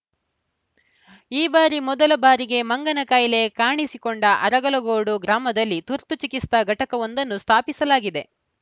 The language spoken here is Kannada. ಈ ಬಾರಿ ಮೊದಲ ಬಾರಿಗೆ ಮಂಗನಕಾಯಿಲೆ ಕಾಣಿಸಿಕೊಂಡ ಅರಲಗೋಡು ಗ್ರಾಮದಲ್ಲಿ ತುರ್ತು ಚಿಕಿತ್ಸಾ ಘಟಕವೊಂದನ್ನು ಸ್ಥಾಪಿಸಲಾಗಿದೆ